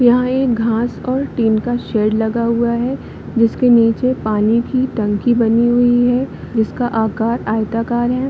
यहाँ एक घास और टिन का शेड लगा हुआ है जिसके नीचे पानी की टंकी बनी हुई है जिसका आकार आयताकार है।